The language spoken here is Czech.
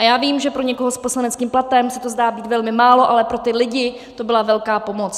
A já vím, že pro někoho s poslaneckým platem se to zdá být velmi málo, ale pro ty lidi to byla velká pomoc.